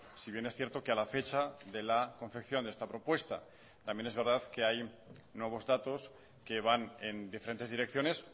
si bien es cierto que a la fecha de la confección de esta propuesta también es verdad que hay nuevos datos que van en diferentes direcciones